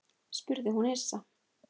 spurði hún hissa.